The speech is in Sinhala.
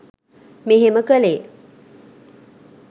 මෙහෙම කළේ.